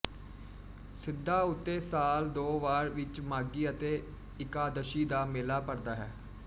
ਸਿੱਧਾਂ ਉੱਤੇ ਸਾਲ ਦੋ ਵਾਰ ਵਿਚ ਮਾਘੀ ਅਤੇ ਇਕਾਦਸ਼ੀ ਦਾ ਮੇਲਾ ਭਰਦਾ ਹੈ